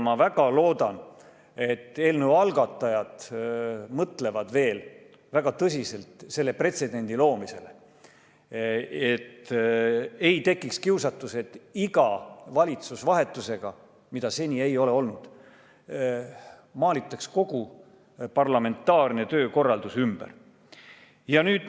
Ma väga loodan, et eelnõu algatajad mõtlevad veel väga tõsiselt selle pretsedendi loomisele, et ei tekiks kiusatust teha seda, mida seni ei ole olnud, et iga valitsusvahetusega maalitaks kogu parlamentaarne töökorraldus ümber.